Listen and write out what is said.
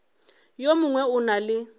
yo mongwe o na le